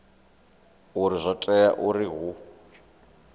uri zwo tea uri hu